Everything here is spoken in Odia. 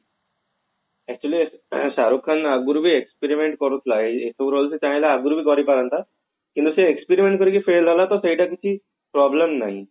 actually ଶାହରୁଖ ଖାନ ଆଗରୁ ବି experiment କରୁଥିଲା ଚାହିଁଲେ ଆଗରୁ ବି ଧରି ପାରନ୍ତା କିନ୍ତୁ ସେ experiment କରିକି fail ହେଲା ତ ସେଇଟା କିଛି problem ନାହିଁ